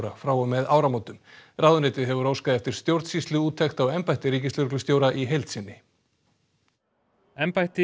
frá og með áramótum ráðuneytið hefur óskað eftir stjórnsýsluúttekt á embætti ríkislögreglustjóra í heild sinni embætti